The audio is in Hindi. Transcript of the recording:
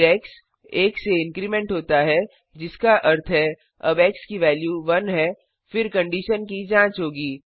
फिर एक्स 1 से इन्क्रिमेंट होता है जिसका अर्थ है अब एक्स की वेल्यू 1 है फिर कंडिशन की जाँच होगी